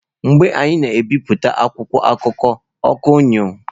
Mgbe anyị na-ebipụta akwụkwọ akụkọ, ọkụ anyuo.